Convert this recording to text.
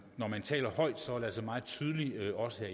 låser